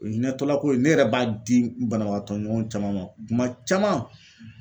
O hinɛtɔla ko in ne yɛrɛ b'a di banabagatɔ ɲɔgɔn caman ma kuma caman.